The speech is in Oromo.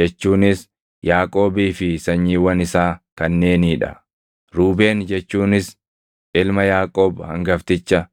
jechuunis Yaaqoobii fi sanyiiwwan isaa kanneenii dha: Ruubeen jechuunis ilma Yaaqoob hangafticha.